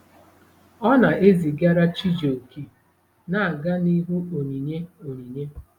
Ọ na-ezigara Chijioke na-aga n'ihu onyinye onyinye.